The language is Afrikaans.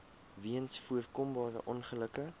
weens voorkombare ongelukke